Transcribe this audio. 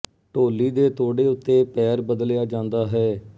ਢੋਲੀ ਦੇ ਤੋੜੇ ਉੱਤੇ ਪੈਰ ਬਦਲਿਆ ਜਾਂਦਾ ਹੈ